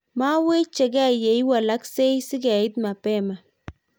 Mwawechkei ye iwalaksei sikeit mapema